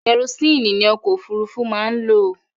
Kerosini ni Ọkọ òfúrufú máa ń lo